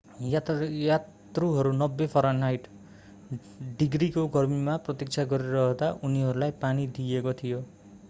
यात्रुहरू 90 फरेनहाइट डिग्रीको गर्मीमा प्रतीक्षा गरिरहँदा उनीहरूलाई पानी दिइएको थियो।